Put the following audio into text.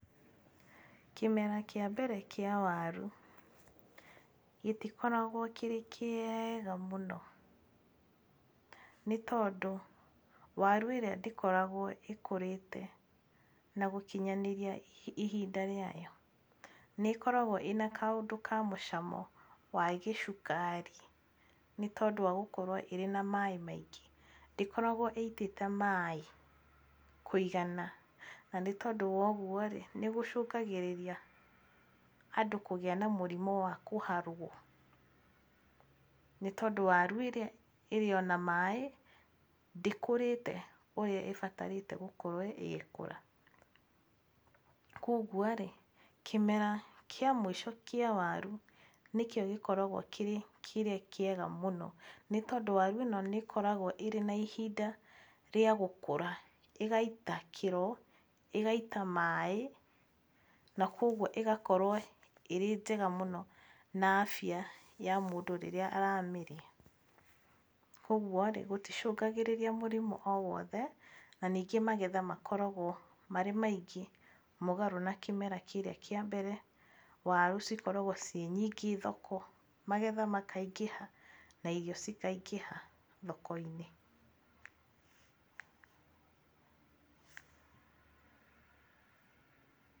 Kĩmera kĩa mbere kĩa waru gĩtikoragwo gĩ kĩega mũno nĩ tondũ waru ĩrĩa ndĩkoragwo ĩkũrĩte na gũkinyanĩria ihinda rĩayo. Nĩ ĩkoragwo ĩna kaũndũ ka mũcamo wa gĩcukari nĩ tondũ wa gũkorwo ĩrĩ na maĩ maingĩ. Ndĩkoragwo ĩitĩte maĩ kũigana na nĩ tondũ wa ũguo rĩ nĩ gũcũngagĩrĩria andũ kũgĩa na mũrimũ wa kũharwo. Nĩ tondũ waru ĩrĩa ĩrĩo na maĩ ndĩkũrĩte ũrĩa ĩbatarĩte gũkorwo ĩgĩkũra. Koguo rĩ kĩmera kĩa mũico kĩa waru nĩkĩo gĩkoragwo kĩrĩ kĩrĩa kĩega mũno, nĩ tondũ waru ĩno nĩ ĩkoragwo ĩrĩ na ihinda rĩa gũkũra, ĩgaita kĩĩro ĩgaita maĩ na koguo ĩgakorwo ĩĩ njega mũno na afya ya mũndũ rĩrĩa aramĩrĩa. Koguo rĩ gũticũngagĩrĩria mũrimũ o wothe na ningĩ magetha makoragwo marĩ maingĩ mũgarũ na kĩmera kĩrĩa kĩa mbere. Waru cikoragwo ciĩ nyingĩ thoko, magetha makaingĩha na irio cikaingĩha thoko-inĩ.